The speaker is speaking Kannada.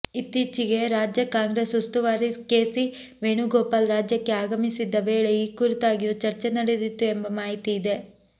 ಇತ್ತೀಚೆಗೆ ರಾಜ್ಯ ಕಾಂಗ್ರೆಸ್ ಉಸ್ತುವಾರಿ ಕೆಸಿ ವೇಣುಗೋಪಾಲ್ ರಾಜ್ಯಕ್ಕೆ ಆಗಮಿಸಿದ್ದ ವೇಳೆ ಈ ಕುರಿತಾಗಿಯೂ ಚರ್ಚೆ ನಡೆದಿತ್ತು ಎಂಬ ಮಾಹಿತಿಯಿದೆ